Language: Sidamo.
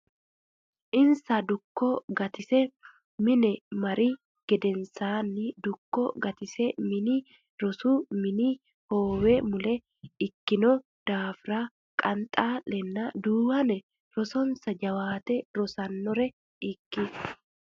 Insano Dukko Gatise mine mari gedensaanni Dukko Gatise mini rosu mini hoowe mule ikkino daafira Qanxaa lenna Duuwane rosonsa jawaate rosannore ikki.